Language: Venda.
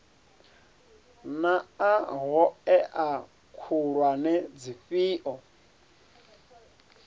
naa hoea khulwane ndi dzifhio